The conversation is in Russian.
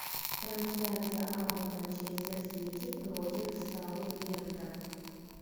трансляция апл манчестер сити против саутгемптон